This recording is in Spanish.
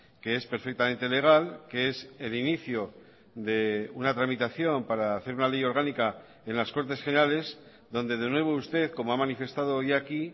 que es perfectamente legal que es el inicio de una tramitación para hacer una ley orgánica en las cortes generales donde de nuevo usted como ha manifestado hoy aquí